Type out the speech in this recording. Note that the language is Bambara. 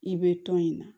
I bɛ tɔn in na